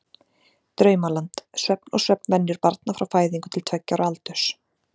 Draumaland: Svefn og svefnvenjur barna frá fæðingu til tveggja ára aldurs.